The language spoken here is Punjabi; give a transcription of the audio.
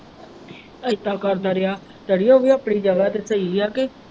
ਇਦਾਂ ਕਰਦਾ ਰਿਹਾ ਅੜੀਏ ਉਹ ਵੀ ਆਪਣੀ ਜਗ੍ਹਾ ਤੇ ਸਹੀ ਹੈ ਕ।